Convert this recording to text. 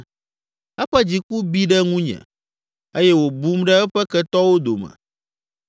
Eƒe dziku bi ɖe ŋunye eye wòbum ɖe eƒe ketɔwo dome.